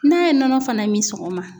N'a ye nɔnɔ fana min sɔgɔma